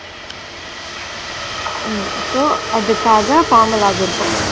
ஹம் இப்போ அதுக்காக formulas இருக்கும்